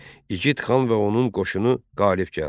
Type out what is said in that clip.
İgid xan və onun qoşunu qalib gəldi.